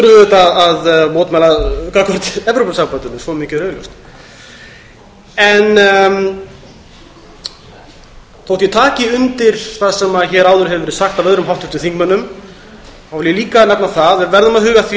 við að mótmæla gagnvart evrópusambandinu svo mikið er augljóst þótt ég taki undir það sem hér hefur áður verið sagt af öðrum háttvirtum þingmönnum vil ég líka nefna það að við verðum að huga að því